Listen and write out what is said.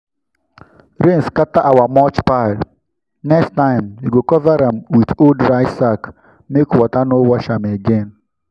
rain scatter our mulch pile—next time we go cover am with old rice sack make water no wash am again.